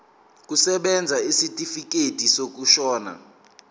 kusebenza isitifikedi sokushona